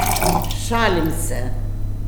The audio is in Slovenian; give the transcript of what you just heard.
Šalim se!